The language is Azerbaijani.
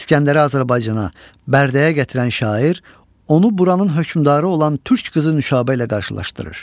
İsgəndəri Azərbaycana, Bərdəyə gətirən şair onu buranın hökmdarı olan türk qızı Nüşabə ilə qarşılaşdırır.